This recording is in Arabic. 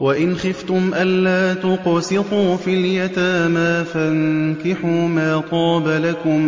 وَإِنْ خِفْتُمْ أَلَّا تُقْسِطُوا فِي الْيَتَامَىٰ فَانكِحُوا مَا طَابَ لَكُم